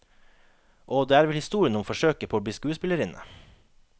Å, det er vel historien om forsøket på å bli skuespillerinne.